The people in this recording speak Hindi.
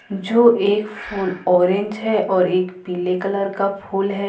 जो एक फूल ऑरेंज है और एक पीले कलर का फूल है।